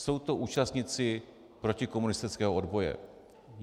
Jsou to účastníci protikomunistického odboje.